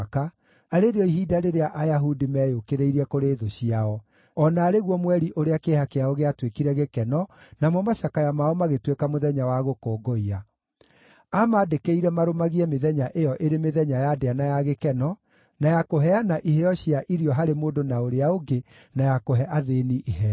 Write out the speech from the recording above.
arĩ rĩo ihinda rĩrĩa Ayahudi meeyũkĩrĩirie kũrĩ thũ ciao, o na arĩ guo mweri ũrĩa kĩeha kĩao gĩatuĩkire gĩkeno, namo macakaya mao magĩtuĩka mũthenya wa gũkũngũiya. Aamandĩkĩire marũmagie mĩthenya ĩyo ĩrĩ mĩthenya ya ndĩa na ya gĩkeno, na ya kũheana iheo cia irio harĩ mũndũ na ũrĩa ũngĩ, na ya kũhe athĩĩni iheo.